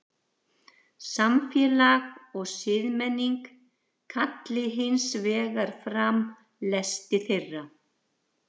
Samfélag og siðmenning kalli hins vegar fram lesti þeirra.